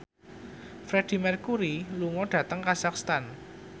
Freedie Mercury lunga dhateng kazakhstan